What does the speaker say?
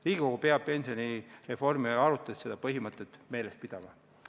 Riigikogu peab pensionireformi arutades seda põhimõtet meeles pidama.